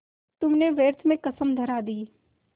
तुमने व्यर्थ में कसम धरा दी